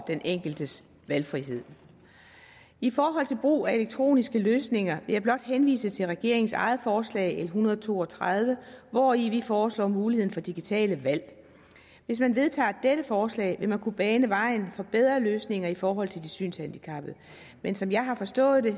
den enkeltes valgfrihed i forhold til brug af elektroniske løsninger vil jeg blot henvise til regeringens eget forslag l en hundrede og to og tredive hvori vi foreslår muligheden for digitale valg hvis man vedtager dette forslag vil man kunne bane vejen for bedre løsninger i forhold til de synshandicappede men som jeg har forstået det